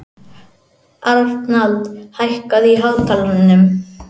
Arnald, hækkaðu í hátalaranum.